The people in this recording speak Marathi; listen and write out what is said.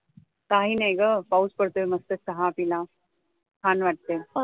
काही नाही पाऊस पडतोय मस्त चहा पीला छान वाटतंय